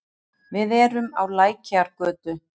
Við erum á Lækjargötu.